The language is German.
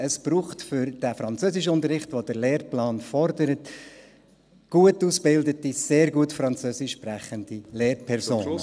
Es braucht für den Französischunterricht, den der Lehrplan fordert, gut ausgebildete, sehr gut französischsprechende Lehrpersonen.